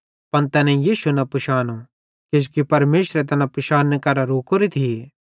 पन तैनेईं यीशु न पिशानो किजोकि परमेशरे तैना पिशान्ने करां रोकोरे थिये